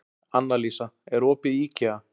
Annalísa, er opið í IKEA?